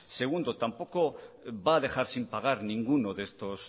segundo tampoco va a dejar sin pagar ninguno de estos